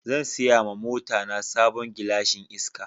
Zan siya ma mota na sabon gilashin iska.